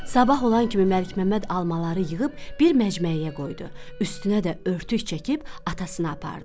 Sabah olan kimi Məlikməmməd almaları yığıb bir məcməyəyə qoydu, üstünə də örtük çəkib atasına apardı.